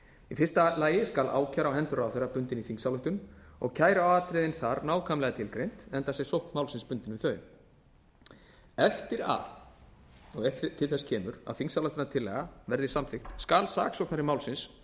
í fyrsta lagi skal ákæra á hendur ráðherra bundin í þingsályktun og kæruatriðin þar nákvæmlega tilgreind enda sé sókn málsins bundin við þau eftir að og ef til þess kemur að þingsályktunartillagan verði samþykkt skal saksóknari málsins